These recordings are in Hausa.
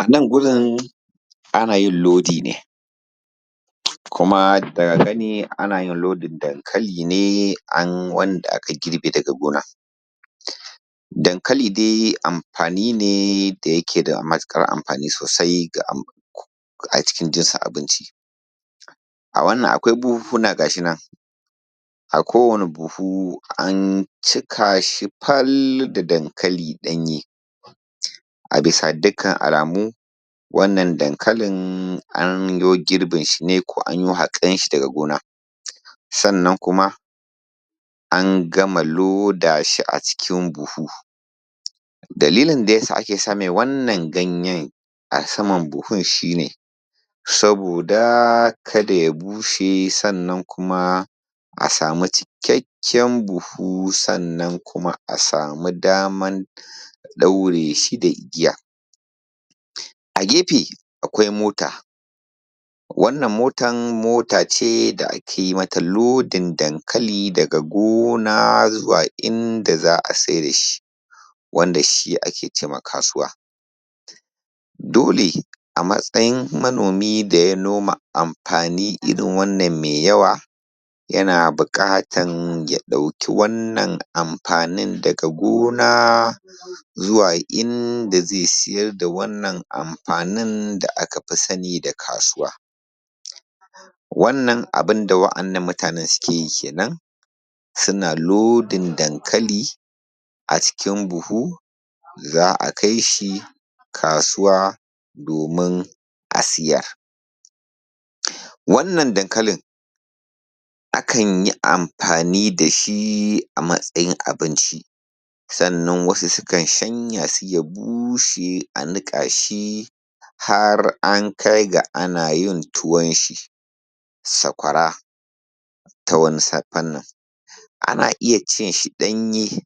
Anan gurin ana yin lodi ne, kuma daga gani ana yin lodin dankali ne an wanda aka girbe daga gona. Dankali dai amfani ne da yake da matuƙar amfani sosai acikin jinsin abinci. A wannan akwai buhunhuna gashi nan, a kowane buhu an cika shi fal da dankali ɗanye. A bisa dukkan alamu, wannan dankalin an yo girbin shi ne ko an yo haƙan shi daga gona, sannan kuma an gama loda shi acikin buhu. Dalilin daya sa ake sa mai wannan ganyen a saman buhun shi ne, saboda kada ya bushe, sannan kuma a samu cikakken buhu, sannan kuma a samu damar ɗaure shi da igiya. A gefe akwai mota, wannan motan mota ce da ake mata lodin dankali daga gona zuwa inda za a saida shi, wanda shi ake ce ma kasuwa. Dole, a matsayin manomi da ya noma amfani irin wannan mai yawa yana buƙatan ya ɗauki wannan amfanin daga gona inda zai siyar da wannan amfanin da aka fi sani da kasuwa Wannan abin da wa'innan mutanen suke yi kenan, suna lodin dankali acikin buhu za a kai shi kasuwa domin a siyar. Wannan dankalin, akan yi amfani da shi a matsayin abinci, sannan wasu sukan shanya shi ya bushe a niƙa shi, har ya kai ga ana yin tuwon shi, sakwara ta wani fannin. Ana iya cin shi ɗanye,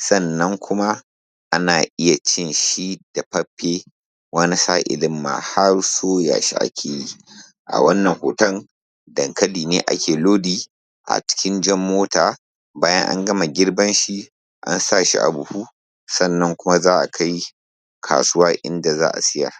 sannan kuma iya cin shi dafaffe wani sa'ilin ma har soya shi ake yi. A wannan hoton dankali ne ake lodi acikin jan mota, bayan an gama girban shi an sa shi a buhu, sannan kuma za a kai kasuwa inda za a siyar.